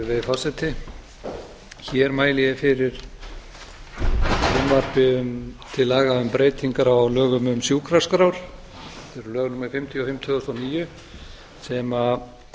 virðulegi forseti hér mæli ég fyrir frumvarpi til laga um breytingar á lögum um sjúkraskrár þetta eru lög númer fimmtíu og fimm tvö þúsund og níu sem